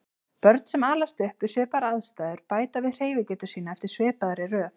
Börn sem alast upp við svipaðar aðstæður bæta við hreyfigetu sína eftir svipaðri röð.